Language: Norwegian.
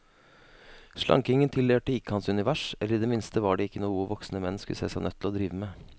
Slankingen tilhørte ikke hans univers, eller i det minste var det ikke noe voksne menn skulle se seg nødt til å drive med.